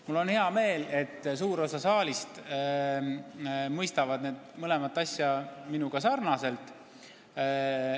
Mul on hea meel, et suur osa saalist mõistab seda mõlemat tõsiasja nagu minagi.